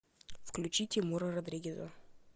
включи тимура родригеза